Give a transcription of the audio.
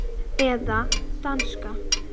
Eða danska.